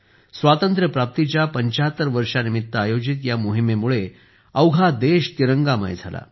स्वातंत्र्य प्राप्तीच्या 75 वर्षांनिमित्त आयोजित या मोहिमेमुळे अवघा देश तिरंगामय झाला